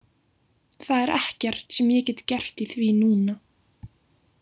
Það er ekkert sem ég get gert í því núna,